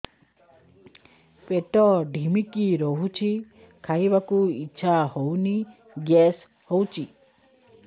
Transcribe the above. ପେଟ ଢିମିକି ରହୁଛି ଖାଇବାକୁ ଇଛା ହଉନି ଗ୍ୟାସ ହଉଚି